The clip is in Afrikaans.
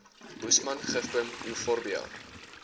boesman gifboom euphorbia